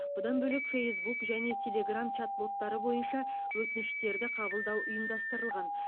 бұдан бөлек фэйсбук және телеграмм чат боттары бойынша өтініштерді қабылдау ұйымдастырылған